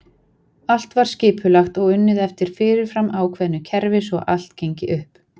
Allt var skipulagt og unnið eftir fyrirfram ákveðu kerfi svo allt gengi upp.